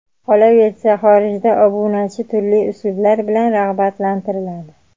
Qolaversa, xorijda obunachi turli uslublar bilan rag‘batlantiriladi.